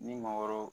Ni maakɔrɔw